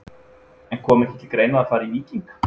En kom ekki til greina að fara í Víking?